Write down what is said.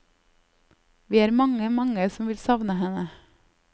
Vi er mange, mange som vil savne henne.